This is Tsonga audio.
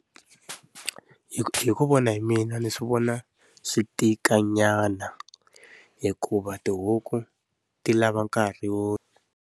Hi ku hi ku vona hi mina ni swi vona swi tika nyana, hikuva tihuku ti lava nkarhi wo.